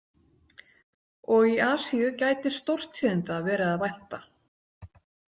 Og í Asíu gæti stórtíðinda verið að vænta.